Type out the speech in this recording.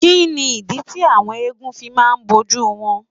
Kí ni ìdí tí àwọn egúngún fi máa ń bojú wọn.?